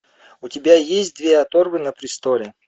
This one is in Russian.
у тебя есть две оторвы на престоле